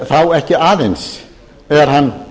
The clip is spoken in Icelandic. þá ekki aðeins er hann